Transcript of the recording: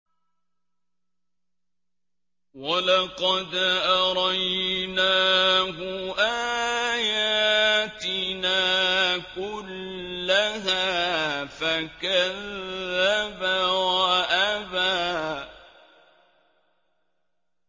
وَلَقَدْ أَرَيْنَاهُ آيَاتِنَا كُلَّهَا فَكَذَّبَ وَأَبَىٰ